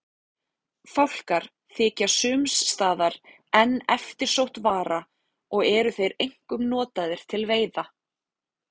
Fálkar þykja sums staðar enn eftirsótt vara og eru þeir einkum notaðir til veiða.